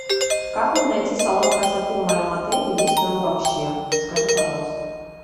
как мне найти салон красоты в моем отеле и есть ли он вообще